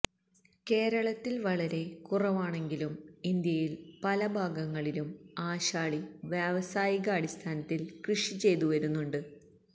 കേരളത്തിൽ വളരെ കുറവാണെങ്കിലും ഇന്ത്യയിൽ പല ഭാഗങ്ങളിലും ആശാളി വ്യാവസായികാടിസ്ഥാനത്തിൽ കൃഷി ചെയ്തുവരുന്നുണ്ട്